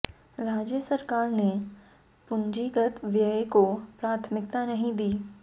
राज्य सरकार ने पूंजीगत व्यय को प्राथमिकता नहीं दी